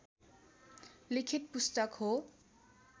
लिखित पुस्तक हो